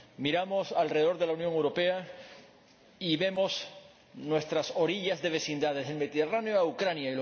Miramos alrededor de la Unión Europea y vemos nuestras orillas de vecindades, del Mediterráneo a Ucrania